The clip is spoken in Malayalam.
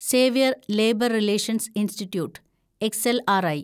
Xavier labour relations institute (XLRI)